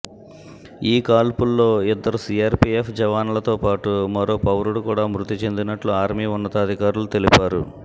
ఈ కాల్పుల్లో ఇద్దరు సిఆర్పిఎఫ్ జవాన్ల తోపాటు మరో పౌరుడు కూడా మృతి చెందినట్లు ఆర్మీ ఉన్నతాధికారులు తెలిపారు